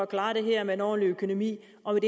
klare det her med en ordentlig økonomi og